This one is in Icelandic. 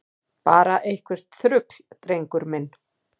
Bara eitthvert þrugl, drengur minn.